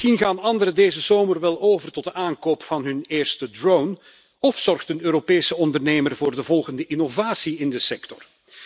Misschien gaan anderen deze zomer wel over tot de aankoop van hun eerste drone of zorgt een Europese ondernemer voor de volgende innovatie in de sector.